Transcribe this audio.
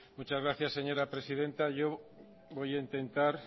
muchas gracias señora presidenta yo voy a intentar